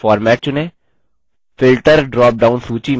filter drop down सूची में triangle पर click करें